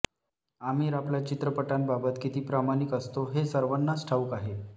आमिर आपल्या चित्रपटांबाबत किती प्रामणिक असतो हे सर्वांनाच ठाऊक आहे